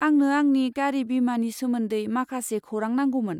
आंनो आंनि गारि बीमानि सोमोन्दै माखासे खौरां नांगौमोन।